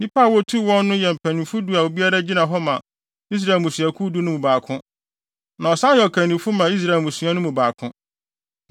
Nnipa a wotuu wɔn no yɛ mpanyimfo du a obiara gyina hɔ ma Israel mmusuakuw du no mu baako, na ɔsan yɛ ɔkannifo ma Israel mmusua no mu baako.